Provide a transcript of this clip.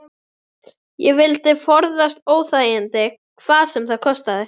Ég vildi forðast óþægindi hvað sem það kostaði.